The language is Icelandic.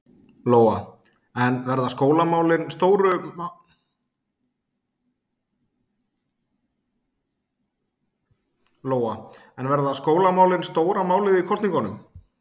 Lóa: En verða skólamálin stóra málið í kosningunum?